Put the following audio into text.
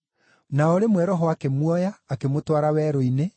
Na o rĩmwe Roho akĩmuoya akĩmũtwara werũ-inĩ,